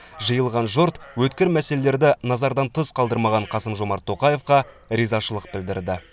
жиылған жұрт өткір мәселелерді назардан тыс қалдырмаған қасым жомарт тоқаевқа ризашылық білдірді